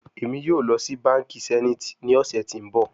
Emi yoo lọ si banki zenith ni ọsẹ ti n bọ